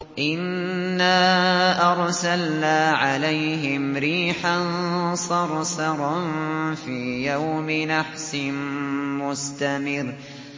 إِنَّا أَرْسَلْنَا عَلَيْهِمْ رِيحًا صَرْصَرًا فِي يَوْمِ نَحْسٍ مُّسْتَمِرٍّ